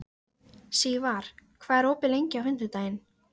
Sögðum fátt klukkan fimm í hátt uppi vorsól.